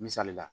Misali la